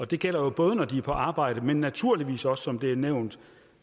det gælder jo både når de er på arbejde men naturligvis også som det er nævnt